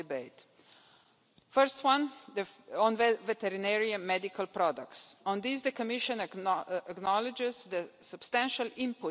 area. They will also deliver a stable and harmonised marketplace for veterinary medicines and medicated feed in the EU that encourages innovation and competitiveness and contributes to greater animal health and welfare and food